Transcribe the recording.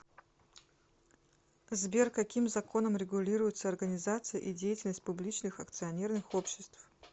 сбер каким законом регулируется организация и деятельность публичных акционерных обществ